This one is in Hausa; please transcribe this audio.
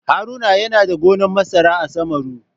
Haruna yana da gonan masara a Samaru.